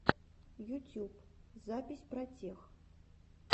ютюб запись протех